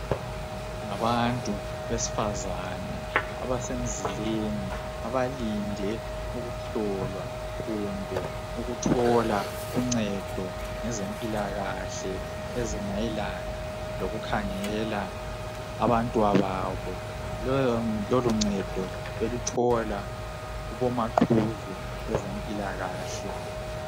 Ngabantu besifazana abasemzileni abalinde ukuhlolwa kumbe ukuthola uncedo ngezempilakahle ezimayelana lokukhangela abantwababo. Loluncedo beluthola kubomaqhuzu bezempilakahle.